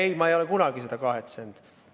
Ei, ma ei ole kunagi kahetsenud.